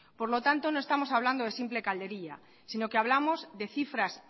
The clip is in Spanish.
por lo tanto no estamos hablando de simple calderilla sino que hablamos de cifras